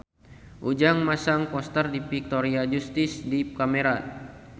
Ujang masang poster Victoria Justice di kamarna